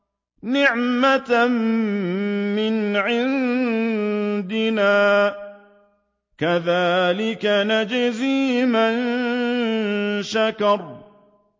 نِّعْمَةً مِّنْ عِندِنَا ۚ كَذَٰلِكَ نَجْزِي مَن شَكَرَ